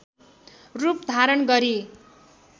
रूप धारण गरी